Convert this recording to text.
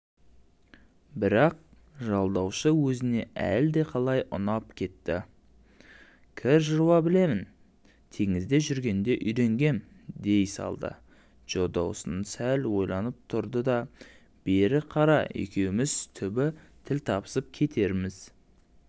бірақ жалдаушы өзіне әлдеқалай ұнап кетті де кір жуа білемін теңізде жүргенде үйренгем дей салдыджо доусон сәл ойланып тұрды дабері қара екеуіміз түбі тіл табысып кетерміз